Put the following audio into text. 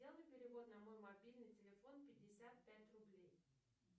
сделай перевод на мой мобильный телефон пятьдесят пять рублей